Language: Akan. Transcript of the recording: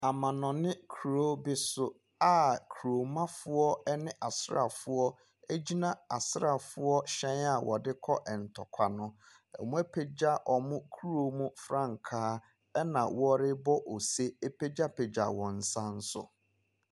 Amanɔne kuro bi so a kuromanfoɔ ne asraafo gyina asraafoɔ hyɛn a wɔde kɔ ntɔkwa no. Wɔapagya wɔn kuro mu frankaa na wɔrebɔ ose ɛrepagyapagya wɔn nsa nso.